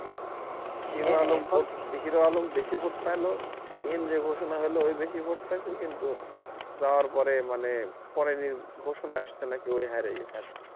Hero Alam বেশি vote পাইলো এমনি ষোষণা হোল ও বেশি vote পাইছে কিন্তু যাওয়ার পরে মানে পরে ষোষণা আসছে নাকি ও হাইরা গেছে